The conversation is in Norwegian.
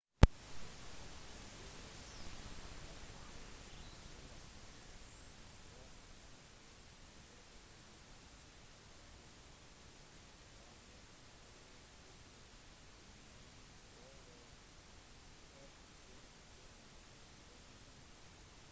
tidligere massachusetts-guvernør mitt romney vant det republikanske partiets presidentvalget på tirsdag med over 46 prosent av stemmene